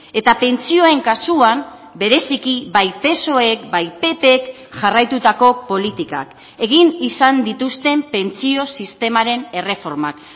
eta pentsioen kasuan bereziki bai psoek bai ppk jarraitutako politikak egin izan dituzten pentsio sistemaren erreformak